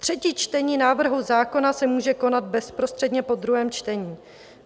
Třetí čtení návrhu zákona se může konat bezprostředně po druhém čtení.